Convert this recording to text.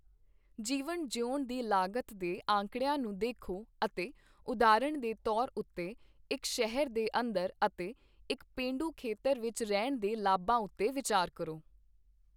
ਜੀਵਨ ਜਿਊਣ ਦੀ ਲਾਗਤ ਦੇ ਅੰਕੜਿਆਂ ਨੂੰ ਦੇਖੋ ਅਤੇ ਉਦਾਹਰਨ ਦੇ ਤੌਰ ਉੱਤੇ ਇੱਕ ਸ਼ਹਿਰ ਦੇ ਅੰਦਰ ਅਤੇ ਇੱਕ ਪੇਂਡੂ ਖੇਤਰ ਵਿੱਚ ਰਹਿਣ ਦੇ ਲਾਭਾਂ ਉੱਤੇ ਵਿਚਾਰ ਕਰੋ।